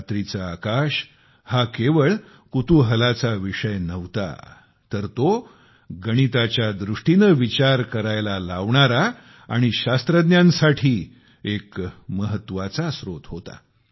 रात्रीचे आकाश हा केवळ कुतूहलाचा विषय नव्हता तर तो गणिताच्या दृष्टीने विचार करायला लावणारा आणि शास्त्रज्ञांसाठी एक महत्त्वाचा स्त्रोत होता